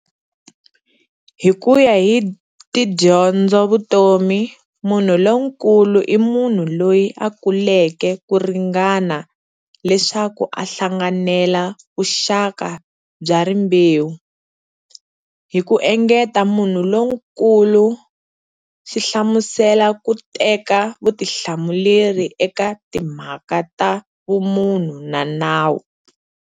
Hikuya hi tidyondzovutomi, munhu lonkulu i munhu loyi a kuleke kuringana leswaku a hlanganela vuxaka bya rimbewu. Hiku engeta, munhu lonkulu swihlamusela ku teka vutihlamuleri eka timhaka ta vumunhu na nawu.